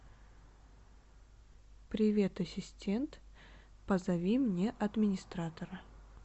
привет ассистент позови мне администратора